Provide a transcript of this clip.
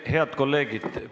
Head kolleegid!